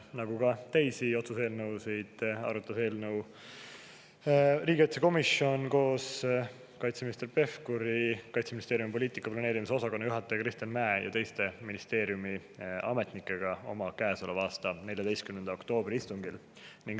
Nagu teisigi otsuse eelnõusid, arutas ka seda eelnõu riigikaitsekomisjon koos kaitseminister Pevkuri, Kaitseministeeriumi poliitika ja planeerimise osakonna juhataja Kristjan Mäe ja ministeeriumi teiste ametnikega käesoleva aasta 14. oktoobri istungil.